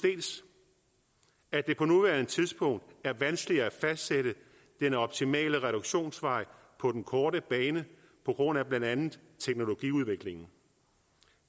at det på nuværende tidspunkt er vanskeligt at fastsætte den optimale reduktionsvej på den korte bane på grund af blandt andet teknologiudviklingen